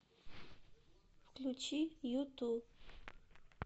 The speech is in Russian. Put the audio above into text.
включи юту